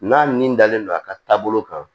N'a min dalen don a ka taabolo kan